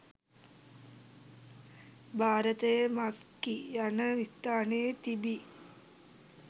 භාරතයේ මස්කි යන ස්ථානයේ තිබී